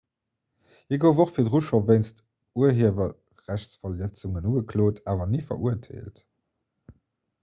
hie gouf och virdru scho wéinst urhiewerrechtsverletzungen ugeklot awer ni verurteelt